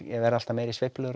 verða alltaf meiri sveiflur